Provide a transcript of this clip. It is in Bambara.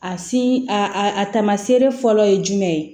A si a a tama seere fɔlɔ ye jumɛn ye